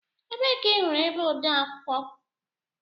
Ebee ka ị hụrụ ebe odeakwụkwọ?